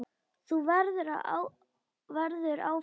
Þú verður áfram til.